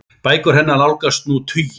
Bækur hennar nálgast nú tuginn.